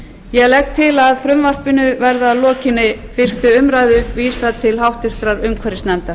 ég legg til að frumvarpinu verði að lokinni fyrstu umræðu vísað til háttvirtrar umhverfisnefndar